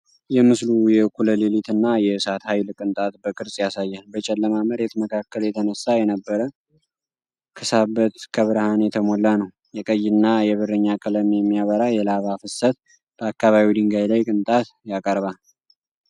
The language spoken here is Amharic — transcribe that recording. የምስሉ የእኩለ ሌሊት እና የእሳት ኃይል ቅንጣት በቅርጽ ያሳያል። በጨለማ መሬት መካከል የተነሳ የነበረ ክሳበት ከብርሃን የተሞላ ነው፣ የቀይና የብርኛ ቀለም የሚበራ የላቫ ፍሰት በአካባቢው ድንጋይ ላይ ቅንጣት ያቀርባል።